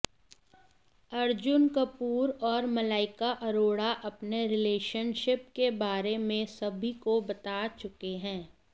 अर्जुन कपूर और मलाका अरोड़ा अपने रिलेशनशिप के बारे में सभी को बता चुके हैं